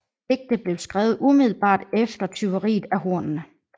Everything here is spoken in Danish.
Digtet blev skrevet umiddelbart efter tyveriet af hornene